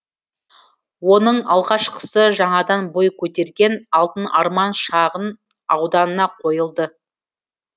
оның алғашқысы жаңадан бой көтерген алтын арман шағын ауданына қойылды